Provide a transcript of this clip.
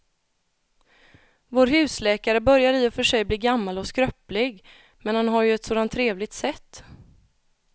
Vår husläkare börjar i och för sig bli gammal och skröplig, men han har ju ett sådant trevligt sätt!